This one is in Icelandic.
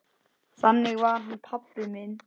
Þannig var hann pabbi minn.